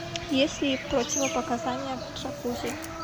есть ли противопоказания к джакузи